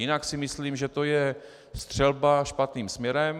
Jinak si myslím, že to je střelba špatným směrem.